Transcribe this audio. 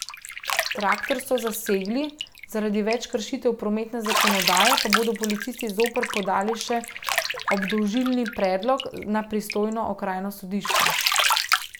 Traktor so zasegli, zaradi več kršitev prometne zakonodaje pa bodo policisti zoper podali še obdolžilni predlog na pristojno okrajno sodišče.